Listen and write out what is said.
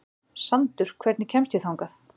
Sandur, hvernig kemst ég þangað?